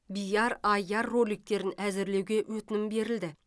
биар аиар роликтерін әзірлеуге өтінім берілді